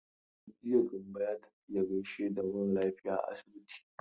Jiya Gambo ya tafi ya gaishe da mara lafiya a asibiti.